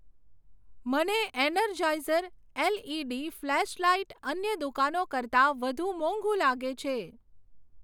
મને energizer LED flashlight અન્ય દુકાનો કરતાં વધુ મોંઘુ લાગે છે.